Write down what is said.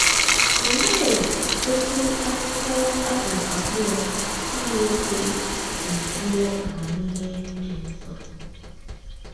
Olee otú akwụkwọ Abụ abụọ Timoteo si juo amamihe dị nsọ!